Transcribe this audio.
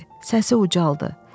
Səsi ucaldı.